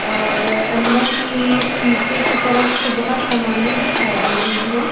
और अंदर की शीशे की तरफ बहुत सामानें दिखाई दे रही हैं।